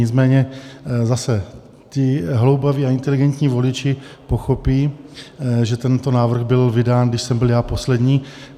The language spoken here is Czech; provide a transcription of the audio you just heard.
Nicméně zase ti hloubaví a inteligentní voliči pochopí, že tento návrh byl vydán, když jsem byl já poslední.